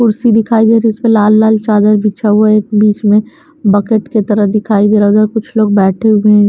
कुर्सी दिखाई दे रही उस पे लाल-लाल चादर बिछा हुआ है एक बीच में बकेट के तरह दिखाई दे रहा उधर कुछ लोग बैठे हुए हैं।